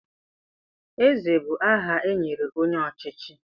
Eze bụ aha e nyere onye ọchịchị.